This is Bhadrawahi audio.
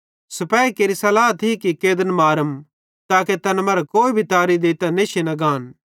सिपेही केरि सल्लाह थी कि कैदन मारम ताके तैन मरां कोई तारी देइतां नेशी न गान